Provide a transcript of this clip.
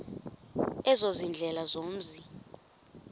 ezo ziindlela zomzi